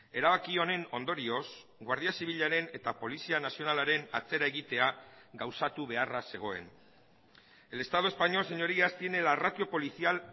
erabaki honen ondorioz guardia zibilaren eta polizia nazionalaren atzera egitea gauzatu beharra zegoen el estado español señorías tiene la ratio policial